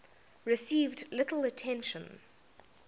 received little attention